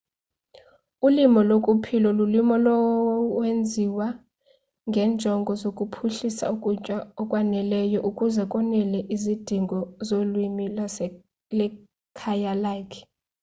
ulimo lokuphila lulimo olwenziwa ngenjongo zokuphuhlisa ukutya okwaneleyo ukuze konele izidingo zomlimi nekhaya lakhe